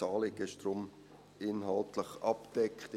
Das Anliegen ist daher inhaltlich abgedeckt.